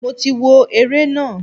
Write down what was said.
Mo ti wo ere na.